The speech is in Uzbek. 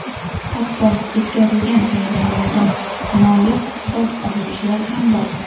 hatto yetkazilgan xayriyalardan nolib dod soluvchilar ham bor.